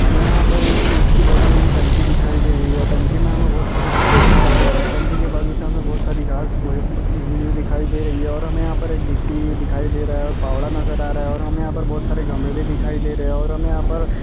हमे यहाँ पर ईंट की बनी हुई टंकी दिखाई दे रही हैं टंकी मे हमे बहुत सारा पानी दिखाई दे रहा हैं टंकी के बाजू से हमे बहुत सारी घास दिखाई दे रही है और हमे यहाँ पर गिट्टी दिखाई दे रहा है फावड़ा नजर आ रहा हैं और हमे यहाँ पर बहुत सारे घमेले दिखाई दे रहे हैं और हमे यहाँ पर--